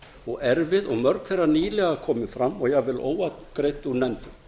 og erfið og mörg þeirra nýlega komin fram og jafnvel óafgreidd úr nefndum